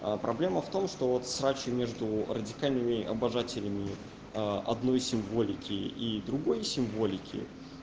проблема в том что вот ругани между радикальными обожателями одной символики и другой символики